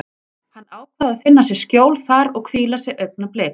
Hann ákvað að finna sér skjól þar og hvíla sig augnablik.